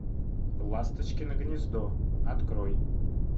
ласточкино гнездо открой